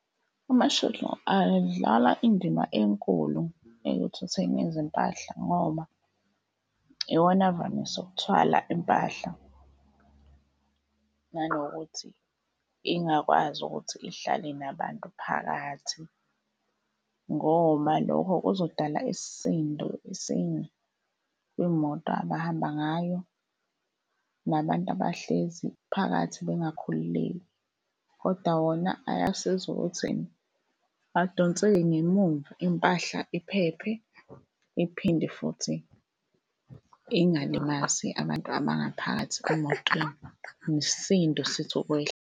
Ama-shuttle adlala indima enkulu ekuthutheni izimpahla ngoba iwona avamise ukuthwala impahla nanokuthi ingakwazi ukuthi ihlale nabantu phakathi. Ngona lokho kuzodala isisindo esinye kwimoto abahamba ngayo nabantu abahlezi phakathi bengakhululeki. Kodwa wona ayasiza ukuthi adonseke ngemumva, impahla iphephe iphinde futhi ingalimazi abantu abangaphakathi emotweni, nesisindo sithi ukwehla.